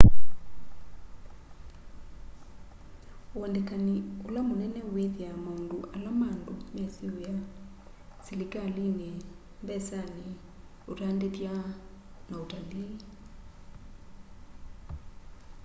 uandĩkanĩ ũla mũnene wĩthĩa maũndũ ala ma andũ mesĩ wĩa selikalĩnĩ mbesanĩ ũtandĩthya na ũtaliinĩ